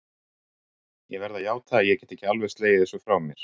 Ég verð að játa að ég get ekki alveg slegið þessu frá mér.